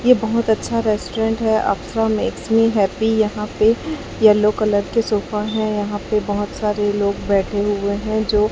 ये बहुत अच्छा रेस्टोरेंट है मेक्स मी हैप्पी यहां पे येलो कलर के सोफा हैं यहां पे बहुत सारे लोग बैठे हुए हैं जो--